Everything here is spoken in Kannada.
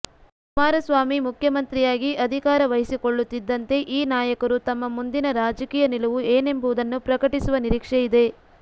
ಕುಮಾರಸ್ವಾಮಿ ಮುಖ್ಯಮಂತ್ರಿಯಾಗಿ ಅಧಿಕಾರ ವಹಿಸಿಕೊಳ್ಳುತ್ತಿದ್ದಂತೆ ಈ ನಾಯಕರು ತಮ್ಮ ಮುಂದಿನ ರಾಜಕೀಯ ನಿಲುವು ಏನೆಂಬುದನ್ನು ಪ್ರಕಟಿಸುವ ನಿರೀಕ್ಷೆ ಇದೆ